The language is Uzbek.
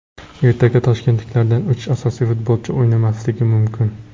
Ertaga toshkentliklardan uch asosiy futbolchi o‘ynamasligi mumkin.